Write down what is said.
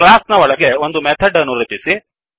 class ನ ಒಳಗೆ ಒಂದು ಮೆಥಡ್ ಅನ್ನು ರಚಿಸಿ